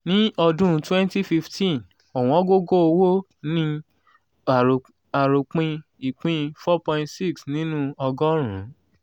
ní ọdún 2015 owongogo-owo ni aropin ìpín 4.6 nínú ọgọ́rùn-ún.